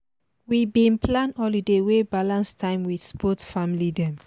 we been plan holiday wey balance time with both family dem